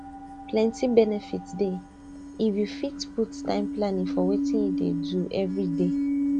plenty benefit dey if you fit put time planning for wetin you dey do everyday